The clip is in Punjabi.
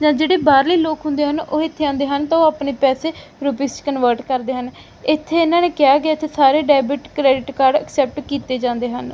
ਯਾ ਜਿਹੜੇ ਬਾਹਰਲੇ ਲੋਕ ਹੁੰਦੇ ਹਨ ਉਹ ਇੱਥੇ ਆਂਦੇ ਹਨ ਤਾਂ ਉਹ ਅਪਨੇ ਪੈਸੇ ਰੂਪੀਸ 'ਚ ਕਨਵਰਟ ਕਰਦੇ ਹਨ ਇੱਥੇ ਇਹਨਾਂ ਨੇ ਕਿਹਾ ਹੈ ਕਿ ਇੱਥੇ ਸਾਰੇ ਡੈਬਿਟ ਕ੍ਰੈਡਿਟ ਕਾਰਡਸ ਐਕਸੇਪਟ ਕੀਤੇ ਜਾਂਦੇ ਹਨ।